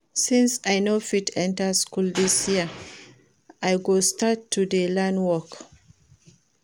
Since I no fit enter school dis year I go start to dey learn work